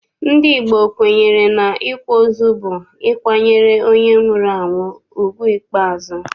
Ndị Igbo kwenyere n'ịkwa ozu bụ ịkwanyere onye nwụrụ anwụ ugwu ikpeazụ.